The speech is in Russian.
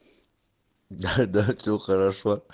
да да все хорошо